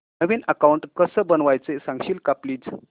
नवीन account कसं बनवायचं सांगशील का प्लीज